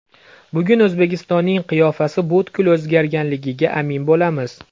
Bugun O‘zbekistonning qiyofasi butkul o‘zgarganligiga amin bo‘lamiz.